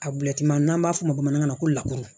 A n'an b'a fɔ o ma bamanankan na ko lakuru